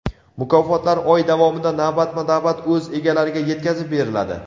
Mukofotlar oy davomida navbatma-navbat o‘z egalariga yetkazib beriladi.